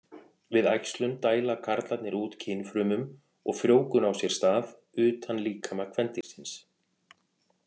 Við æxlun dæla karlarnir út kynfrumum og frjóvgun á sér stað utan líkama kvendýrsins.